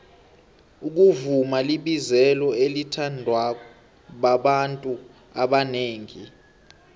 ukuvuma libizelo elithandwababantu abonengi